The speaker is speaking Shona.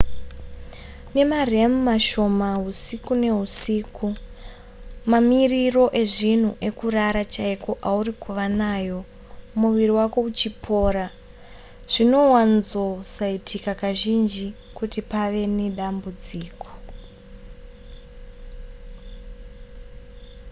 nemarem mashoma husiku nehusiku mamiriro ezvinhu ekurara chaiko auri kuva nayo muviri wako uchipora zvinowanzosaitika kazhinji kuti pave nedambudziko